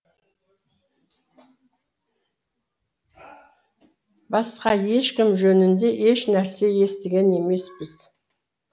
басқа ешкім жөнінде еш нәрсе естіген де емеспіз